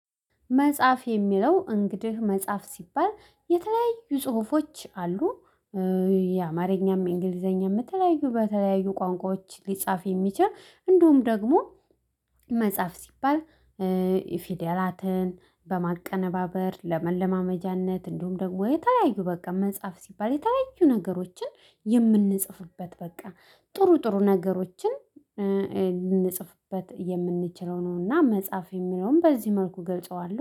መጽሐፍ የሚለው እንግዲህ መጽሐፍ ሲባል የተለያዩ ጽሁፎች አሉ። የአማርኛም እንግሊዘኛም የተለያዩ በተለያዩ ቋንቋዎች ሊጻፍ የሚችል እንዲሁም ደግሞ መጻሀፍ ሲባል። ፊደላትን በማቀነባበር ለመለማመጃነት እንዲሁም ደግሞ የተለያዩ በቃ መጽሐፍ ሲባል የተለያዩ ነገሮችን የምንጽፍበት በቃ ጥሩ ጥሩ ነገሮችን ልንጽፍበት የምንችለው ነው። እና መጻሀፍ የሚለውን በዚህ መልኩ እገልጸዋለሁ